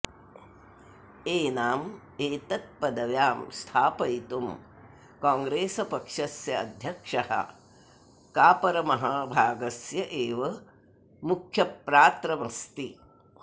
एनाम् एतत्पदव्यां स्थापयितुं काङ्ग्रेसपक्षस्य अध्यक्षः कापरमहाभागस्य एव मुख्यप्रात्रमस्ति